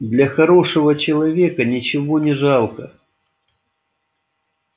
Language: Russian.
для хорошего человека ничего не жалко